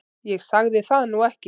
Ég sagði það nú ekki